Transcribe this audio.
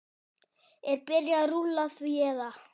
Er byrjað rúlla því eða?